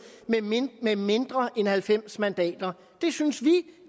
med mindre end halvfems mandater det synes vi